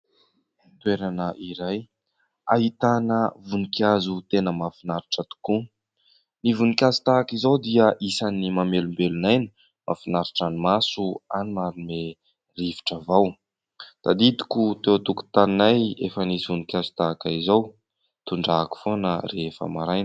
Toerana iray, ahitana voninkazo tena mahafinaritra tokoa. Ny voninkazo tahaka izao dia isany mamelombelon'aina mahafinaritra ny maso ary manome rivotra vao. Tadidoko teo an-tokotaninay efa nisy voninkazo tahaka izao. Tondrahako foana rehefa maraina.